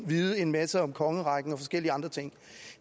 vide en masse om kongerækken og forskellige andre ting